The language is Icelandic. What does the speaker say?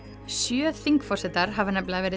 sjö þingforsetar hafa nefnilega verið